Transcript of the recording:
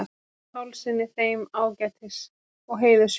Pálssyni, þeim ágætis- og heiðurshjónum.